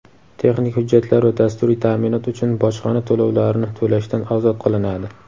texnik hujjatlar va dasturiy ta’minot uchun bojxona to‘lovlarini to‘lashdan ozod qilinadi.